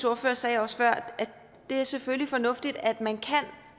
ordfører sagde også før at det selvfølgelig er fornuftigt at man kan